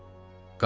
Qayıtıblar.